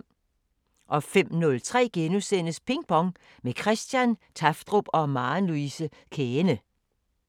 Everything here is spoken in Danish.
05:03: Ping Pong – med Christian Tafdrup og Maren Louise Käehne (G) *